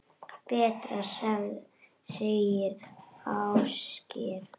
Betra, segir Ásgeir.